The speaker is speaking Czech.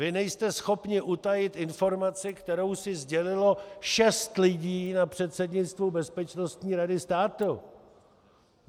Vy nejste schopni utajit informaci, kterou si sdělilo šest lidí na předsednictvu Bezpečnostní rady státu.